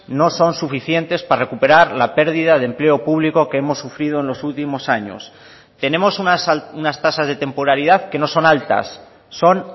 no son suficientes para recuperar la pérdida de empleo público que hemos sufrido en los últimos años tenemos unas tasas de temporalidad que no son altas son